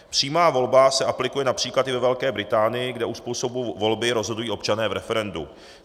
Přímá volba se aplikuje například i ve Velké Británii, kde o způsobu volby rozhodují občané v referendu.